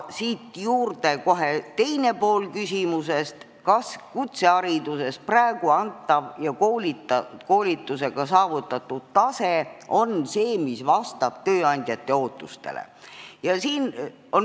Siit kohe teine pool küsimusest: kas kutsehariduses praegu antav ja koolitusega saavutatav tase on see, mis vastab tööandjate ootustele?